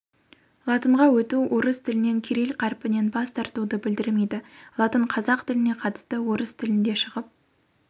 латынға өту орыс тілінен кирилл қарпінен бас тартуды білдірмейді латын қазақ тіліне қатысты орыс тілінде шығып